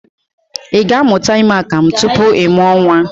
I ga-amụta ime akamụ tupu ị mụọ nnwa?